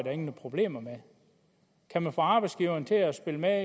er nogen problemer med kan man få arbejdsgiveren til at spille med